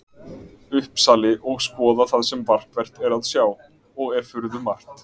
Uppsali og skoða það sem markvert er að sjá, og er furðumargt.